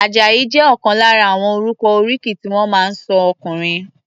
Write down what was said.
Àjàyí jẹ́ ọ̀kan lára àwọn orúkọ oríkì tí wọ́n máa ń sọ ọkùnrin.